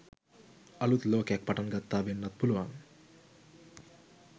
අලුත් ලෝකයක් පටන් ගත්තා වෙන්නත් පුළුවන්.